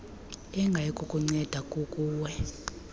engayi kukunceda kukuwe